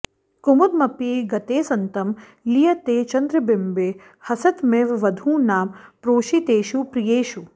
कुमुदमपि गतेऽस्तं लीयते चन्द्रबिम्बे हसितमिव वधूनां प्रोषितेषु प्रियेषु